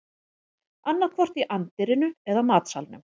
Annaðhvort í anddyrinu eða matsalnum